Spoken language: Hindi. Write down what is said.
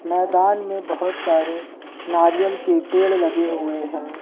मैदान में बहुत सारे नारियल के पेड़ लगे हुए हैं।